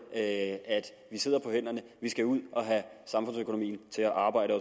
at vi sidder på hænderne vi skal ud at have samfundsøkonomien til at arbejde